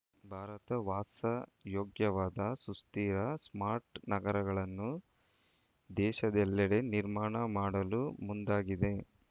ಭಾರತ ವಾಸಯೋಗ್ಯವಾದ ಸುಸ್ಥಿರ ಸ್ಮಾರ್ಟ್‌ ನಗರಗಳನ್ನು ದೇಶದೆಲ್ಲೆಡೆ ನಿರ್ಮಾಣ ಮಾಡಲು ಮುಂದಾಗಿದೆ